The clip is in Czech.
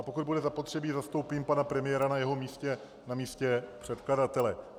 A pokud bude zapotřebí, zastoupím pana premiéra na jeho místě, na místě předkladatele.